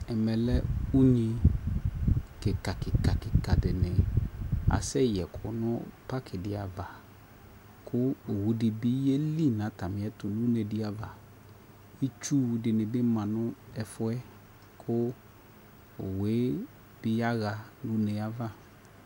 Ɛmɛ lɛ unyi kikakikakika dini asɛyɛkʋ nʋ paki di ava kʋ owu di bi yeli nʋ atami ɛtʋ nʋ une di ava Itsu dini bi ma nʋ ɛfuɛ kʋ owu e bi yaɣa nʋ une y'ava